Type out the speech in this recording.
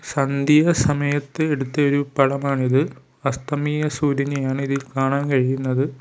സന്ധ്യാ സമയത്ത് എടുത്തയൊരു പടമാണിത് അസ്തമയ സൂര്യനെയാണ് ഇതിൽ കാണാൻ കഴിയുന്നത്.